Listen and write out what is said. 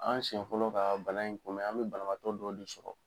An siɲɛn fɔlɔ ka bana in kun bɛ, an bɛ banabaatɔ dɔ de sorobalabatɔ dɔ ei sɔrɔ.